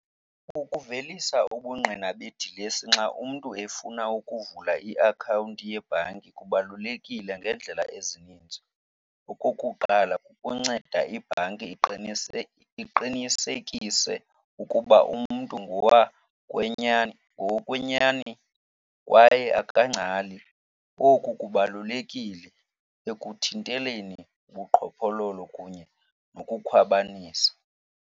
Ukuvelisa ubungqina bedilesi xa umntu efuna ukuvula iakhawunti yebhanki kubalulekile ngeendlela ezininzi. Okokuqala, kukunceda ibhanki iqinise, iqinisekise ukuba umntu ngowokwenyani kwaye akangcali. Oku kubalulekile ekuthinteleni ubuqhophololo kunye nokukhwabanisa.